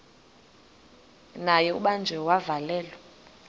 naye ubanjiwe wavalelwa